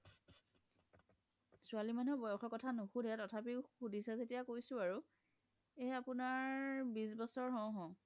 ছোৱালি মানুহ্ক বয়সৰ কথা নোসুধে তোথাপিও সুধিচা জেতিয়া কইছো আৰু এনে আপুনাৰ বিশ বছৰ হও হও